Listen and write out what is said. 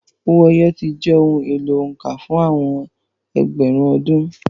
Owó ẹyọ ti jẹ́ ohun èlò òǹkà fún àwọn ẹgbẹ̀rún ọdún.